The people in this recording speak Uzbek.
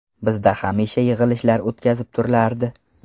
Bizda hamisha yig‘ilishlar o‘tkazib turilardi.